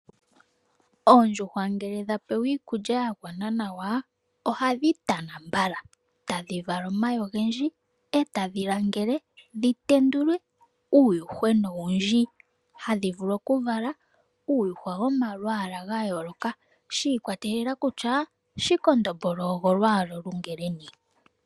Oondjuhwa ngele dha pewa iikulya ya gwana nawa ohadhi tana mbala tadhi vala omayi ogendji etadhi langele dhi tendule uundjushwena oundji, hadhi vulu oku vala uundjushona womalwaala ga yooloka shi ikwa telela kutya shikondombolo ogo lwaala olungeleni.